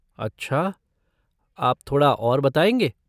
अच्छा, आप थोड़ा और बताएँगे?